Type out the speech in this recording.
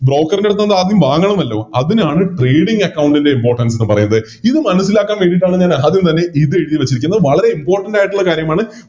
Broker ൻറെടുത്തിന്ന് ആദ്യം വാങ്ങണമല്ലോ അതിനണ് Trading account ൻറെ Importance എന്ന് പറയുന്നത് ഇത് മനസ്സിലാക്കാൻ വേണ്ടിട്ടാണ് ഞാൻ ആദ്യം തന്നെ ഇത് എഴുതി വെച്ചിരിക്കുന്നത് വളരെ Important ആയിട്ടുള്ള കാര്യമാണ്